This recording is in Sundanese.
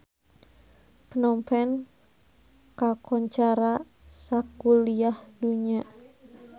Phnom Penh kakoncara sakuliah dunya